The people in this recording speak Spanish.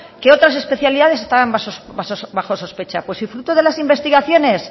que otras especialidades están bajo sospecha pues si fruto de las investigaciones